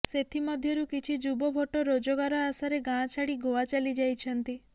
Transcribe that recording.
ସେଥିମଧ୍ୟରୁ କିଛି ଯୁବ ଭୋଟର ରୋଜଗାର ଆଶାରେ ଗାଁ ଛାଡ଼ି ଗୋଆ ଚାଲିଯାଇଛନ୍ତି